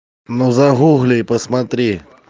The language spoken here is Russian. ну загугли и посмотри